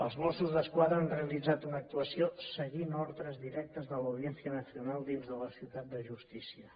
els mossos d’esquadra han realitzat una actuació seguint ordres directes de l’audiència nacional dins de la ciutat de justícia